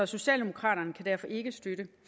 socialdemokraterne kan derfor ikke støtte